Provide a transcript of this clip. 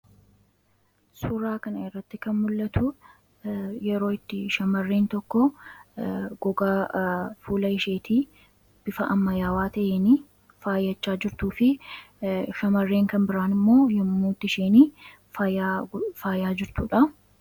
Suuraa kanarratti kan mul'atu yeroo itti shamarreen tokko gogaa fuula isheetii bifa ammayyaawaa ta'een faayachaa jirtuu fi shamarreen kan biraan immoo yommuu isheen faayaa faayaa jirtudha.